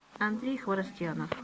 андрей хворостьянов